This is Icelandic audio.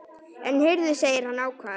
En heyrðu, segir hann ákafur.